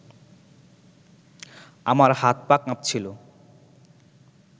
আমার হাত-পা কাঁপছিল